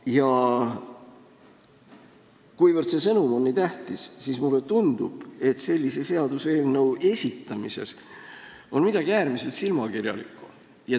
Ja kuivõrd see sõnum on nii tähtis, siis mulle tundub, et sellise seaduseelnõu esitamises on midagi äärmiselt silmakirjalikku.